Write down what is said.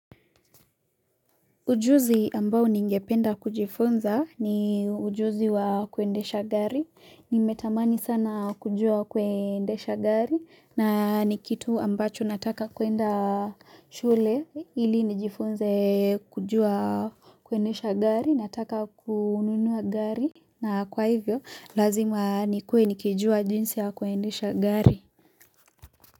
Ujuzi ambao ningependa kujifunza ni ujuzi wa kuendesha gari, nimetamani sana kujua kuendesha gari na nikitu ambacho nataka kuenda shule ili nijifunze kujua kuendesha gari nataka kununua gari na kwa hivyo lazima nikue nikijua jinsi ya kuendesha gari.